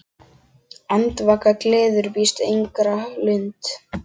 Andvaka gleður víst engra lund.